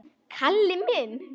Kalli minn!